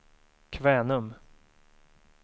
Kvänum